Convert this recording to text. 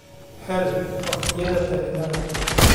hel waqtiyada tareenada